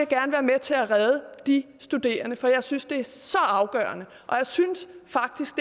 gerne være med til at redde de studerende for jeg synes det er så afgørende og jeg synes faktisk